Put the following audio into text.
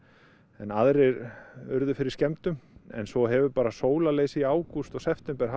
en aðrir urðu fyrir skemmdum en svo hefur bara í ágúst og september haft